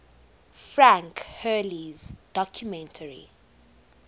frank hurley's documentary